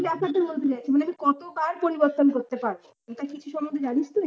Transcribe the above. এই ব্যাপারটা বলতে চাইছি মানে আমি কতবার পরিবর্তন করতে পারবো এটা কিছু সম্বন্ধে জানিস তুই।